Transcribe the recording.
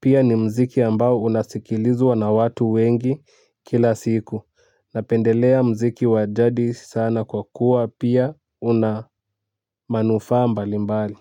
pia ni mziki ambao unasikilizwa na watu wengi kila siku napendelea mziki wa jadi sana kwa kuwa pia una manufaa mbali mbali.